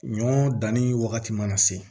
Ɲɔ danni wagati mana se